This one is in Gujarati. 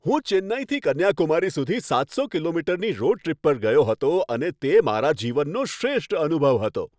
હું ચેન્નઈથી કન્યાકુમારી સુધી સાતસો કિમીની રોડ ટ્રીપ પર ગયો હતો અને તે મારા જીવનનો શ્રેષ્ઠ અનુભવ હતો.